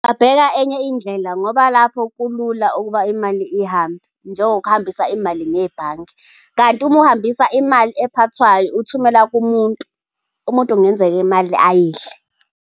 Ngingabheka enye indlela ngoba lapho kulula ukuba imali ihambe njengokuhambisa imali ngebhange, kanti uma uhambisa imali ephathwayo, uthumela kumuntu, umuntu kungenzeka imali ayidle.